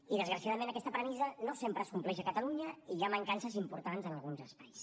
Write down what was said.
i desgraciadament aquesta premissa no sempre es compleix a catalunya i hi ha mancances importants en alguns espais